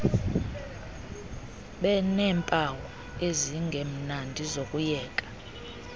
beneempawu ezingemnandi zokuyeka